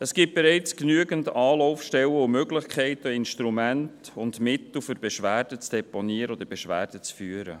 Es gibt bereits genügend Anlaufstellen und Möglichkeiten an Instrumenten und Mitteln, um Beschwerden zu deponieren oder Beschwerden zu führen.